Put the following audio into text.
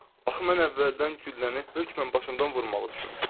Axı mən əvvəldən gülləni hökmən başımdan vurmağı düşünmüşdüm.